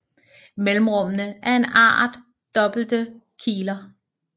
Mellemrummene er en art dobbelte kiler